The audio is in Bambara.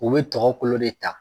U bɛ tɔgɔ kolo de ta.